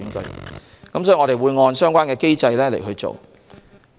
因此，我們會按相關機制行事。